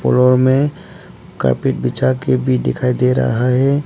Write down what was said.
Floor में carpet बिछा के भी दिखाइए दे रहा है।